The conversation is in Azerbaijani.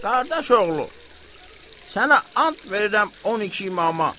Qardaş oğlu, sənə and verirəm 12 İmama.